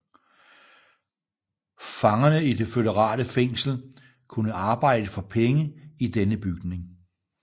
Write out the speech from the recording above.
Fangerne i det føderale fængsel kunne arbejde for penge i denne bygning